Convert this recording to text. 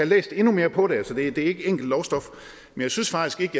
læst endnu mere på det for det er ikke enkelt lovstof jeg synes faktisk ikke